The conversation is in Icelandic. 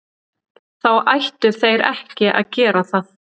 Þá ættu þeir ekki að gera það.